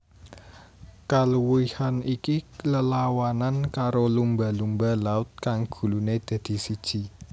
Kaluwihan iki lelawanan karo lumba lumba laut kang guluné dadi siji